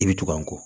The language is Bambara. I bɛ tugan kɔ